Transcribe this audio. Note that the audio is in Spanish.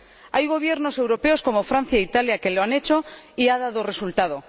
Hay gobiernos europeos, como Francia e Italia, que lo han hecho, y ha dado resultado.